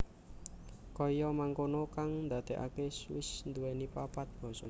Kaya mangkono kang ndadekake Swiss nduwèni papat basa